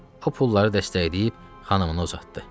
O pulları dəstəkləyib xanımına uzatdı.